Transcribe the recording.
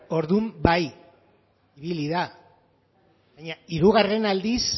orduan bai ibili da baina hirugarren aldiz